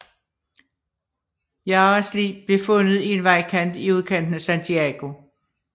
Jaras lig blev fundet i en vejkant i udkanten af Santiago